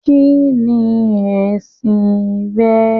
Kínní ẹsìn rẹ.